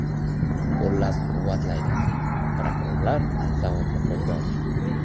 qo‘llab-quvvatlaydi... Prokurorlar zavodni qo‘lga olgan”.